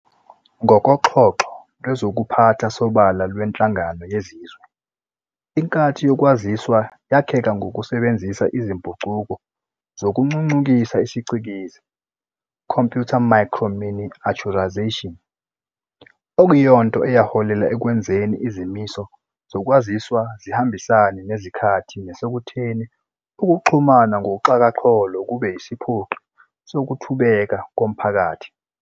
NgokoXhoxho lwezokuPhatha Sobala lweNhlangano yeZizwe, iNkathi yokwaziswa yakheka ngokusebenzisa izimpucuko zokuncuncukisa isiCikizi "computer microminiaturization", okuyinto eyaholela ekwenzeni izimiso zokwaziswa zihambisane nezikhathi nasekutheni ukuxhumana ngoxhakaxholo kube yesiphoqi sokuthubeka komphakathi.